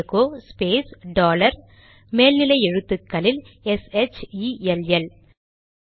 echo space dollar மேல் நிலை எழுத்துக்களில் எஸ்ஹெச்இஎல்எல் ஷெல்